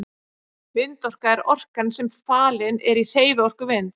Vindorka er orkan sem falin er í hreyfiorku vinds.